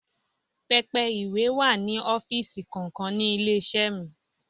Pẹpẹ ìwé wà ní ọ́fíìsì kọ̀ọ̀kan ní ilé-iṣẹ́ mi.